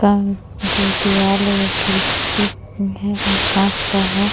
कं जो दीवाल है वो खिड़ की है और कांच का है।